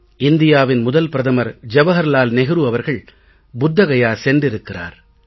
இந்தியாவின் முதல் பிரதமர் ஜவஹர்லால் நெஹ்ரு அவர்கள் புத்த கயா சென்றிருக்கிறார்